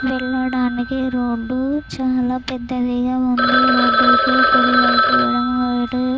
వెళ్ళడానికి రోడ్డు చాలా పెద్దదిగా ఉంది. రోడ్డుకు కుడివైపున ఎడమవైపున--